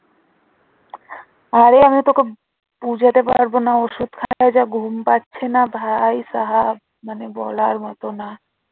আরে আমি তোকে বোঝাতে পারবো না ওষুধ খাইয়ে যা ঘুম পাচ্ছে না ভাইসাহাব। মানে বলার মতো না